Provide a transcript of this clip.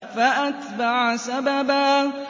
فَأَتْبَعَ سَبَبًا